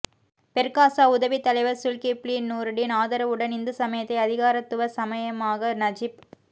Perkasa உதவித் தலைவர் Zulkifli Noordin ஆதரவுடன் இந்து சமயத்தை அதிகாரத்துவ சமயமாக நஜிப்